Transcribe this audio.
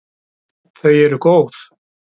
Þau eru góð.